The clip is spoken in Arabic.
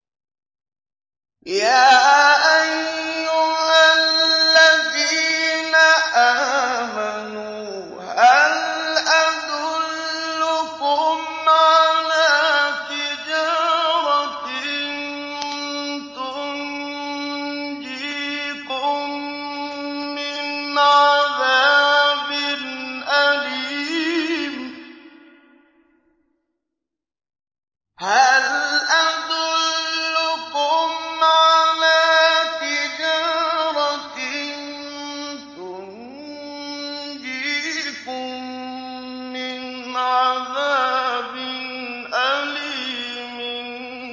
يَا أَيُّهَا الَّذِينَ آمَنُوا هَلْ أَدُلُّكُمْ عَلَىٰ تِجَارَةٍ تُنجِيكُم مِّنْ عَذَابٍ أَلِيمٍ